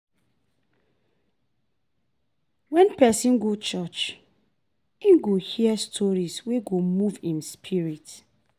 Wen pesin go church, im go hear stories wey go move im spirit.